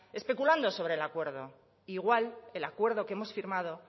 especulando sobre el acuerdo igual el acuerdo que hemos firmado